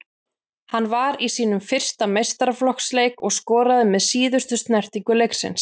Hann var í sínum fyrsta meistaraflokksleik og skoraði með síðustu snertingu leiksins.